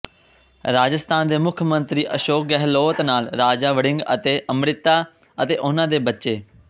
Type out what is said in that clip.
ਰਾਜਸਥਾਨ ਦੇ ਮੁਖ ਮੰਤਰੀ ਅਸ਼ੋਕ ਗਹਿਲੋਤ ਨਾਲ ਰਾਜਾ ਵੜਿੰਗ ਅਤੇ ਅੰਮ੍ਰਿਤਾ ਅਤੇ ਉਨ੍ਹਾਂ ਦੇ ਬੱਚੇ